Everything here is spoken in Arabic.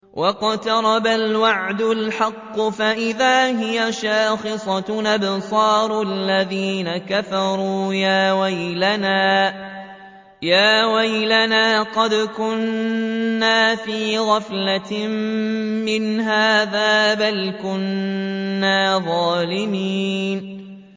وَاقْتَرَبَ الْوَعْدُ الْحَقُّ فَإِذَا هِيَ شَاخِصَةٌ أَبْصَارُ الَّذِينَ كَفَرُوا يَا وَيْلَنَا قَدْ كُنَّا فِي غَفْلَةٍ مِّنْ هَٰذَا بَلْ كُنَّا ظَالِمِينَ